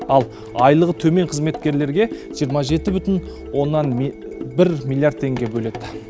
ал айлығы төмен қызметкерлерке жиырма жеті бүтін оннан бір миллиард теңге бөледі